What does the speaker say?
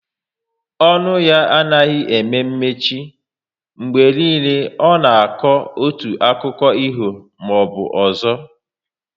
Ọnụ ya anaghị eme mechi, mgbe niile ọ nọ na akọ otu akiko ifo maọbụ ọzọ